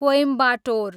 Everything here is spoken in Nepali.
कोइम्बाटोर